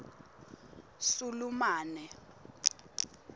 sulumane